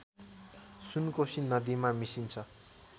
सुनकोशी नदीमा मिसिन्छ